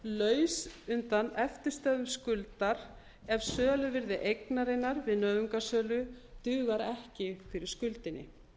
laus undan eftirstöðvum skuldar ef söluvirði eignarinnar við nauðungarsölu dugar ekki fyrir skuldinni